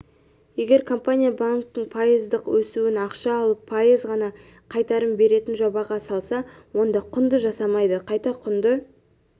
егер компания банктен пайыздық өсіен ақша алып пайыз ғана қайтарым беретін жобаға салса онда құнды жасамайды қайта құнды